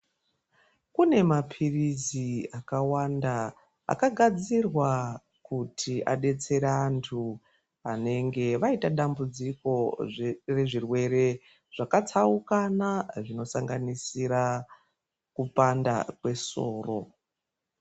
Kune mapirisi akawanda aka gadzirwa kuti adetsere antu vanenge vaita dambudziko zvisiri zvirwere zvaka tsaukana zvino sanganisira kupanda kwe soro.